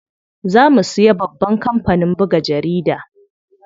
Za mu siya babban kampanin buga jaridu.